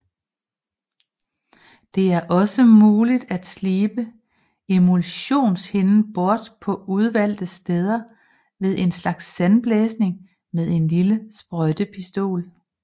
Det er også muligt at slibe emulsionshinden bort på udvalgte steder ved en slags sandblæsning med en lille sprøjtepistol